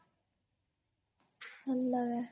ହେଲା ଏଁ